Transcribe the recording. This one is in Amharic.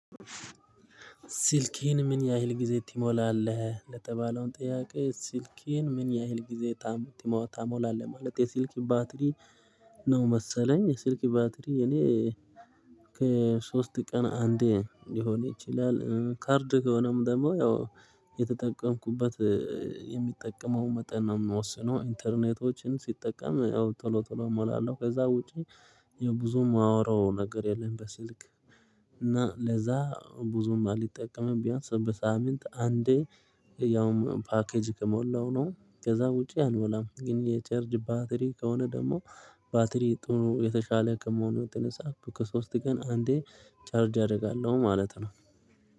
ስልክህን ምን ያህል ጊዜ ትሞላለህ ለተባለውን ጥያቄ? ስልክህን ምን ያህል ጊዜ ትሞላለህ ማለት የስልክ ባትሪ ነው መሰለኝ የስልክ ባትሪ እኔ ከሶስት ቀን አንዴ ሊሆን ይችላል። ካርድ ከሆነም ደግሞ ያው የተጠቀምኩበት የሚጠቀመው መጠን ነው የሚወስነው ኢንተርኔቶችን ስጠቀም አዎ ቶሎ ቶሎ እሞላለሁ። ከዛ ውጪ የብዙ የማወራው ነገር የለም። በስልክ እና ለዛ ብዙም አልተጠቀመም ቢያንስ በሳምንት አንዴ ያውም ፓኬጅ ከሞላው ነው። ከዛ ውጪ አልሞላም። ግን የቻርጅ ባትሪ ከሆነ ደግሞ ባትሪ ጥሩ የተሻለ ከመሆኑ የተነሳ ከሶስት ቀን አንዴ ቻርጅ አደርጋለሁ ማለት ነው